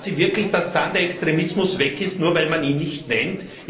Glauben Sie wirklich, dass dann der Extremismus weg ist, nur weil man ihn nicht nennt?